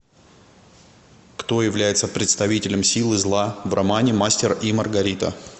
кто является представителем силы зла в романе мастер и маргарита